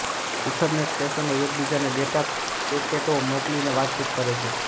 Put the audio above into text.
Ethernet સ્ટેશનો એકબીજા ને ડેટા પેકેટો મોકલીને વાતચીત કરે છે